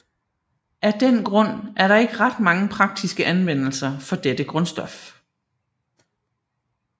Af den grund er der ikke ret mange praktiske anvendelser for dette grundstof